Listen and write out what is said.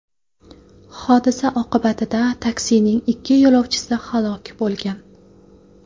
Hodisa oqibatida taksining ikki yo‘lovchisi halok bo‘lgan.